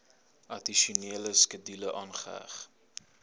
addisionele skedule aangeheg